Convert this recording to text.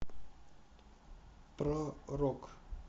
про рок